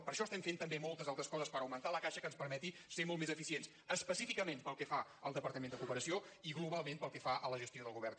per això estem fent també moltes altres coses per augmentar la caixa que ens permeti ser molt més eficients específicament pel que fa al departament de cooperació i globalment pel que fa a la gestió del govern